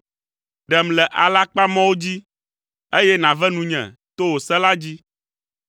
Ɖem le alakpamɔwo dzi, eye nàve nunye to wò se la dzi.